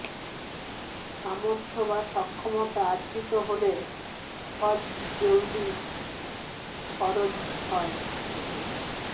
সামর্থ্য বা সক্ষমতা অর্জিত হলে হজ জলদি ফরজ হয়